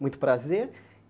Muito prazer.